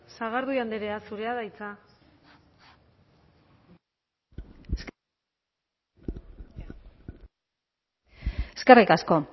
sagardui andrea zurea da hitza eskerrik asko